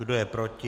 Kdo je proti?